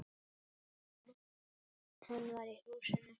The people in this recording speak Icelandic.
Hann var í húsinu.